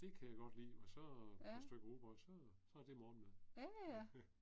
Ja. Ja ja